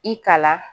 I kalan